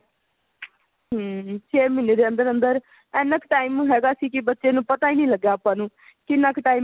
hm ਛੇ ਮਹੀਨੇ ਦੇ ਅੰਦਰ ਅੰਦਰ ਏਨਾ ਕ time ਹੈਗਾ ਸੀ ਕਿ ਬੱਚੇ ਨੂੰ ਪਤਾ ਹੀ ਨਹੀਂ ਲੱਗਾ ਆਪਾਂ ਨੂੰ ਕਿੰਨਾ ਕ time